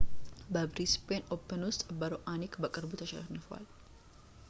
በብሪስቤን ኦፕን ውስጥ በሮአኒክ በቅርቡ ተሽንፏል